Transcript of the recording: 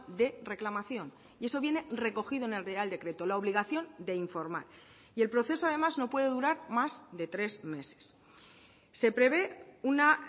de reclamación y eso viene recogido en el real decreto la obligación de informar y el proceso además no puede durar más de tres meses se prevé una